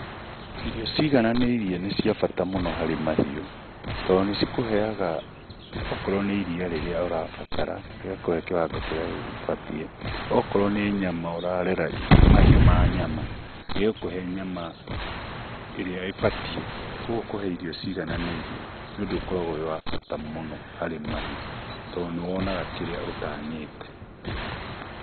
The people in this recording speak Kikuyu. Irio ciigananĩirie nĩ cia bata mũno harĩ mahiũ tondũ nĩ cikũheaga okorwo nĩ iria rĩrĩa urabatara, ĩgakuhe kĩwango kĩrĩa gĩbatiĩ. Okorwo nĩ nyama, ũrarera mahiũ ma nyama ĩgũkũhe nyama ĩrĩa ĩbatiĩ. Kũguo kũhe irio ciigananĩirie nĩ ũndũ ũkoragwo wĩ wa bata mũno harĩ mahiũ to nĩ wonaga kĩrĩa ũtanyĩte.